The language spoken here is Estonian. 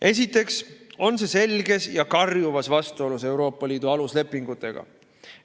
Esiteks on see selges ja karjuvas vastuolus Euroopa Liidu aluslepingutega.